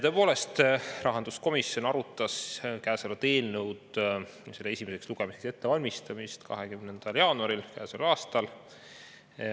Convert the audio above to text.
Tõepoolest, rahanduskomisjon arutas käesolevat eelnõu esimese lugemise ettevalmistamiseks 20. jaanuaril käesoleval aastal.